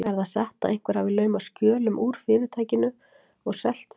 Er það satt, að einhver hafi laumað skjölum úr Fyrirtækinu og selt þau?